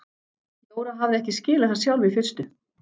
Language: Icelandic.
Jóra hafði ekki skilið það sjálf í fyrstu.